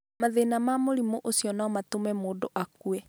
Mathĩna ma mũrimũ ũcio no matũme mũndũ akue.